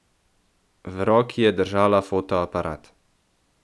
V roki je držala fotoaparat.